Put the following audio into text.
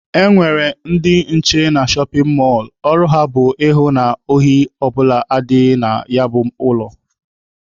E nwekwara ndị nche na shọpin mọlụ, ọrụ ha bụ ịhụ na ohi ọ bụla adịghị na ya bụ ụlọ.